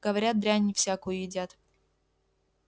говорят дрянь всякую едят